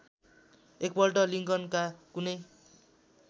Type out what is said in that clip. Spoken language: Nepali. एकपल्ट लिंकनका कुनै